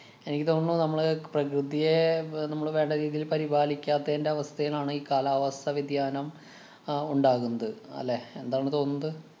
എനിക്ക് തോന്നണു നമ്മള് പ്രകൃതിയെ ബ~ നമ്മള് വേണ്ടരീതിയില് പരിപാലിക്കാത്തയിന്‍റെ അവസാഥേലാണ് ഈ കാലാവസ്ഥ വ്യതിയാനം അഹ് ഉണ്ടാകുന്നത്. അല്ലെ? എന്താണ് തോന്നുന്നത്?